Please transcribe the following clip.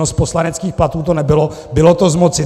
No, z poslaneckých platů to nebylo, bylo to z moci.